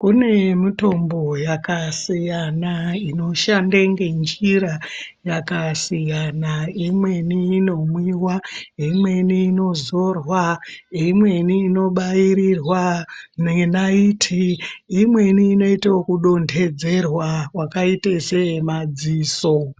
Kune mitombo yakasiyana inoshande ngenjira yakasiyana imweni inomwiwa imweni inozorwa imweni inobairirwa nenaiti imweni inoite ekudondedzerwa wakaita seyemadziso.